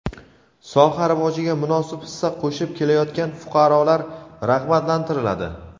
soha rivojiga munosib hissa qo‘shib kelayotgan fuqarolar rag‘batlantiriladi.